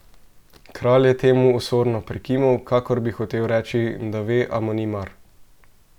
Kralj je temu osorno prikimal, kakor bi hotel reči, da ve, a mu ni mar.